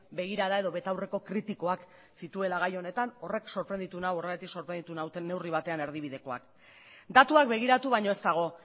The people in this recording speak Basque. begirada edo betaurreko kritikoak zituela gai honetan horrek sorprenditu nau horregatik sorprenditu naute neurri batean erdibidekoak datuak begiratu baino ez dago